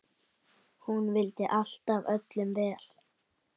Hún vildi alltaf öllum vel.